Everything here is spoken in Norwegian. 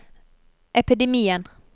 epidemien